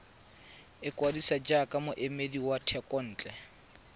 ikwadisa jaaka moemedi wa thekontle